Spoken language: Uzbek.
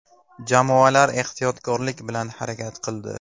Jamoalar ehtiyotkorlik bilan harakat qildi.